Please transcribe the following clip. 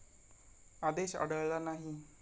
आदेश आढळला नाही.